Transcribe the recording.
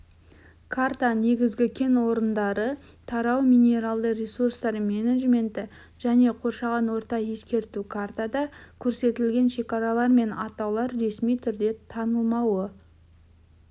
карта негізгі кен орындары тарау минералды ресурстар менеджменті және қоршаған орта ескерту картада көрсетілген шекаралар мен атаулар ресми түрде танылмауы